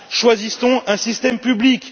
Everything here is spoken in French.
Choisissons un système public.